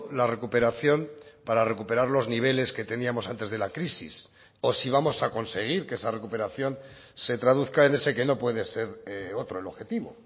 la recuperación para recuperar los niveles que teníamos antes de la crisis o si vamos a conseguir que esa recuperación se traduzca en ese que no puede ser otro el objetivo